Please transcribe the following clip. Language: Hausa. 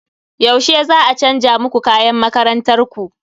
Yaushe za a chanza muku kayan makarantar ku?